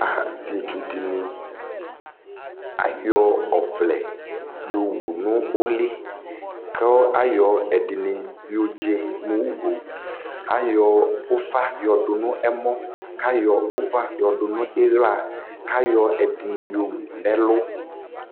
Asɩetsu dɩnɩ, ayɔ ɔvlɛ yɔwu nʋ ʋlɩ kʋ ayɔ ɛdɩnɩ yɔdze mʋ ugo Ayɔ ʋfa yɔdʋ nʋ ɛmɔ kʋ ayɔ ʋfa yɔdʋ nʋ ɩɣla Ayɔ ɛdɩnɩ yɔwu nʋ ɛlʋ